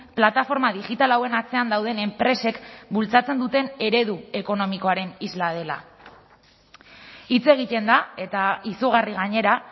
plataforma digital hauen atzean dauden enpresek bultzatzen duten eredu ekonomikoaren isla dela hitz egiten da eta izugarri gainera